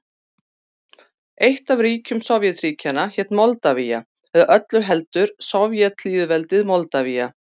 Eitt af ríkjum Sovétríkjanna hét Moldavía, eða öllu heldur Sovétlýðveldið Moldavía.